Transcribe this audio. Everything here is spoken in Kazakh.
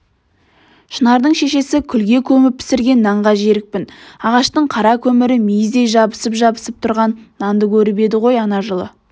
шынардың шешесі күлге көміп пісірген нанға жерікпін ағаштың қара көмірі мейіздей жабысып-жабысып тұрған нанды көріп едің ғой ана жылы